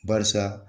Barisa